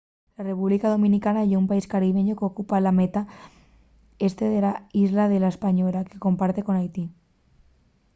la república dominicana ye un país caribeñu qu’ocupa la metá este de la islla de la española que comparte con haiti